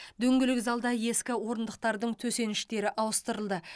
дөңгелек залда ескі орындықтардың төсеніштері ауыстырылды